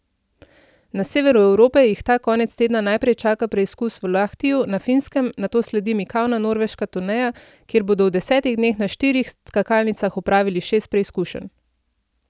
Na severu Evrope jih ta konec tedna najprej čaka preizkus v Lahtiju na Finskem, nato sledi mikavna norveška turneja, kjer bodo v desetih dneh na štirih skakalnicah opravili šest preizkušenj.